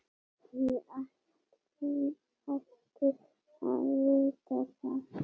Ég ætti að vita það.